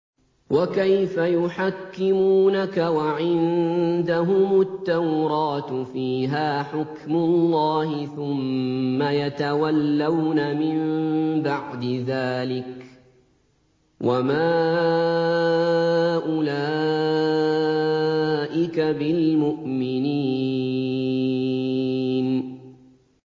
وَكَيْفَ يُحَكِّمُونَكَ وَعِندَهُمُ التَّوْرَاةُ فِيهَا حُكْمُ اللَّهِ ثُمَّ يَتَوَلَّوْنَ مِن بَعْدِ ذَٰلِكَ ۚ وَمَا أُولَٰئِكَ بِالْمُؤْمِنِينَ